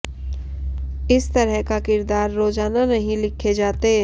इस तरह का किरदार रोजाना नहीं लिखे जाते